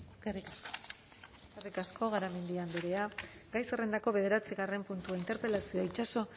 eskerrik asko eskerrik asko garamendi andrea gai zerrendako bederatzigarren puntua interpelazioa itxaso